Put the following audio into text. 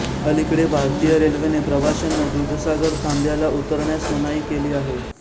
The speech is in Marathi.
अलिकडे भारतीय रेल्वेने प्रवाश्यांना दूधसागर थांब्याला उतरण्यास मनाई केली आहे